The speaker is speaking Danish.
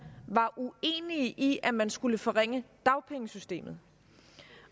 var uenige i at man skulle forringe dagpengesystemet